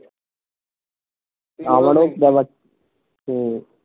হম